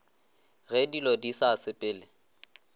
ge dilo di sa sepele